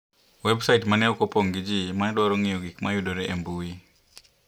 Websait ma ne ok opong ' gi ji ma ne dwaro ng'iyo gik ma yudore e intanet.